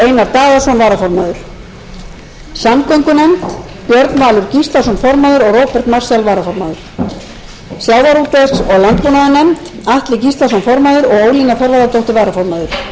daðason samgöngunefnd formaður björn valur gíslason varaformaður róbert marshall varaformaður sjávarútvegs og landbúnaðarnefnd formaður atli gíslason varaformaður ólína þorvarðardóttir umhverfisnefnd formaður þórunn sveinbjarnardóttir